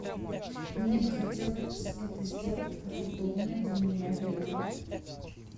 мне бы хотелось это сделать в удобное для меня время